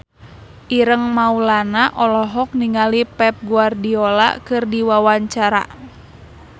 Ireng Maulana olohok ningali Pep Guardiola keur diwawancara